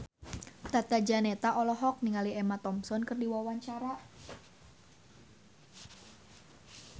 Tata Janeta olohok ningali Emma Thompson keur diwawancara